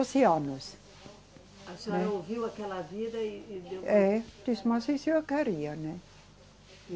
anos. A senhora ouviu aquela vida e, e deu. É, disse, mas isso eu queria, né?